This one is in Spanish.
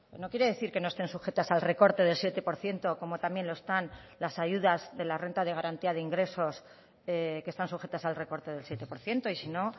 no quiere decir que no estén sujetas al recorte del siete por ciento como también lo están las ayudas de la renta de garantía de ingresos que están sujetas al recorte del siete por ciento y sino